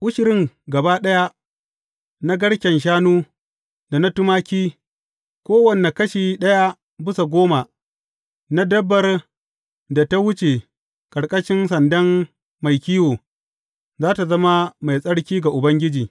Ushirin gaba ɗaya na garken shanu, da na tumaki, kowane kashi ɗaya bisa goma na dabbar da ta wuce ƙarƙashin sandan mai kiwo, za tă zama mai tsarki ga Ubangiji.